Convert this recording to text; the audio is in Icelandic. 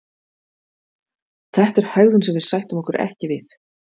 Þetta er hegðun sem við sættum okkur ekki við